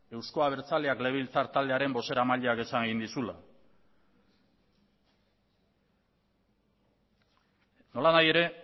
euzko abertzaleak legebiltzar taldearen bozeramaileak esan egin dizula nolanahi ere